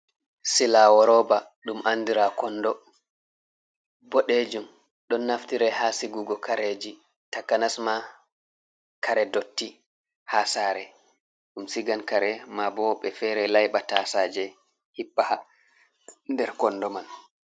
Silawo roba dum andira kondo bodejum don naftirai ha sigugo kareji ta kanasma kare dotti ha sare dum sigan kare ma bo wobɓe fere laiba tasaje hippa ha nder kondo man.